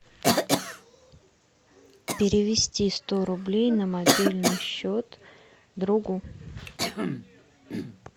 перевести сто рублей на мобильный счет другу